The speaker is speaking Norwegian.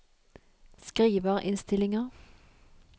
skriverinnstillinger